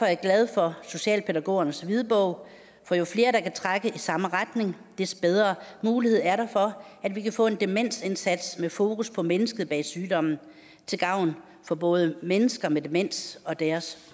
jeg glad for socialpædagogernes hvidbog for jo flere der kan trække i samme retning des bedre mulighed er der for at vi kan få en demensindsats med fokus på mennesket bag sygdommen til gavn for både mennesker med demens og deres